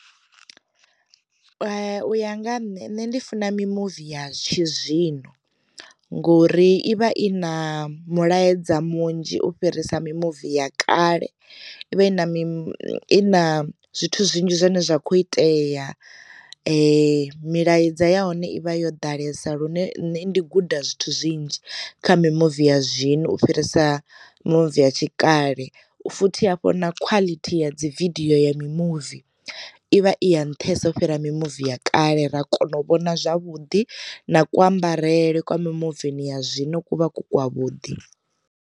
U ya nga nṋe nṋe ndi funa mi muvi ya tshi zwino ngori i vha i na mulaedza munzhi u fhirisa mimuvi ya kale i vha i na mini na zwithu zwinzhi zwine zwa kho itea, milaedza ya hone ivha yo ḓalesa lune nne ndi guda zwithu zwinzhi kha mi muvi ya zwino u fhirisa mimuvi ya tshikale, futhi hafho na quality ya dzi vidiyo ya mi muvi ivha i ya nṱhesa fhira mimuvi ya kale ra kona u vhona zwavhuḓi na kuambarele kwa mi muvi ya zwino kuvha ku kwa vhuḓi.